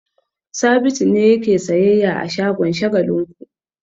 Sabitu ne yake sayyayya a shagon Shagalinku.